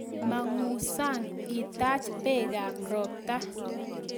mangu sang itaach peekab ropta